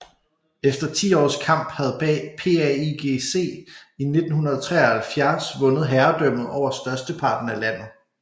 Efter ti års kamp havde PAIGC i 1973 vundet herredømmet over størsteparten af landet